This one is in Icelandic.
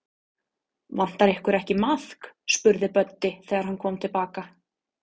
Vantar ykkur ekki maðk? spurði Böddi, þegar hann kom til baka.